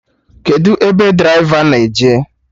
Kedụ ebe draịva na-eje?